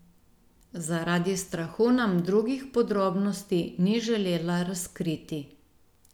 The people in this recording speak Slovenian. Zaradi strahu nam drugih podrobnosti ni želela razkriti.